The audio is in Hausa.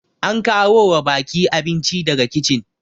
an kawo wa baki abinci daga kicin